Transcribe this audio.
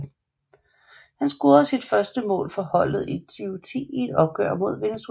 Han scorede sit første mål for holdet i 2010 i et opgør mod Venezuela